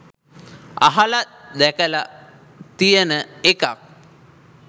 අහල දැකල තියෙන එකක්.